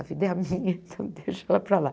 A vida é a minha, então eu deixo ela para lá.